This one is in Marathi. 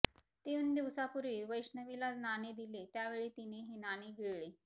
तीन दिवसापूर्वी वैष्णवीला नाणे दिले त्यावेळी तीने हे नाणे गिळले